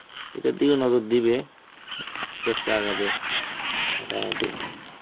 এটা দিয় নজর দিবে. আস্তে আস্তে আগাবে মোটামুটি.